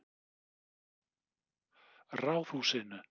Ráðhúsinu